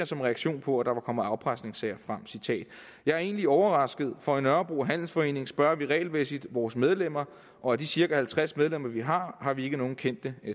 som reaktion på at der var kommet afpresningssager frem jeg er egentlig overrasket for i nørrebro handelsforening spørger vi regelmæssigt vores medlemmer og af de cirka halvtreds medlemmer vi har har vi ikke nogle kendte